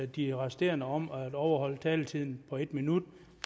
de resterende om at overholde taletiden på en minut